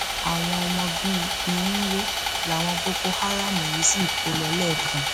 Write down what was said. àwọn ọmọ bíi irínwó làwọn boko haram yìí sì kó lọ lẹẹkan